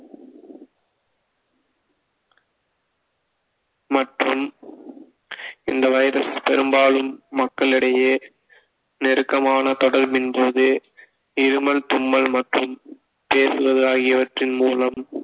மற்றும் இந்த வைரஸ் பெரும்பாலும் மக்களிடையே நெருக்கமான தொடர்பின் போது இருமல் தும்மல் மற்றும் பேசுவது ஆகியவற்றின் மூலம்